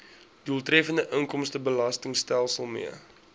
doeltreffende inkomstebelastingstelsel mee